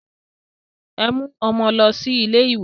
Ẹ mú ọmọ lọ sí ilé ìwé!